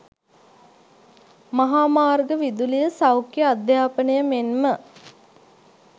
මහා මාර්ග, විදුලිය, සෞඛ්‍ය, අධ්‍යාපනය මෙන්ම